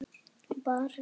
Maren Ósk.